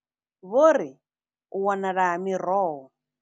Vho ri, U wanala ha miroho.